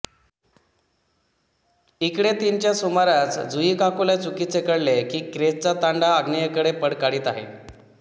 इकडे तीनच्या सुमारास झुइकाकुला चुकीचे कळले की क्रेसचा तांडा आग्नेयेकडे पळ काढीत आहे